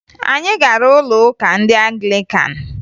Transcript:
Anyị gara ụlọụka ndị Anglikan